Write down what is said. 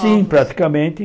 Sim, praticamente.